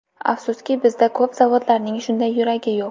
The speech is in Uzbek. Afsuski, bizda ko‘p zavodlarning shunday ‘yuragi’ yo‘q.